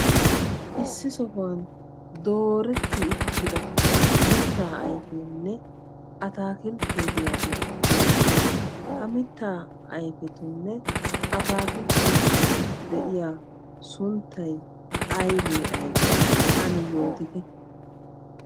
Issi sohuwan dooretidda mitta ayfettinne ataakiltte beetees. Ha mitta ayfettunne ataakilttettu maaddoy aybbe aybbe?